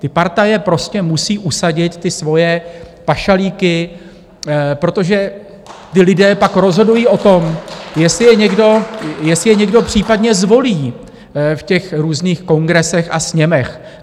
Ty partaje prostě musí usadit ty svoje pašalíky, protože ti lidé pak rozhodují o tom, jestli je někdo případně zvolí v těch různých kongresech a sněmech.